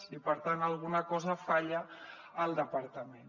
i per tant alguna cosa falla al departament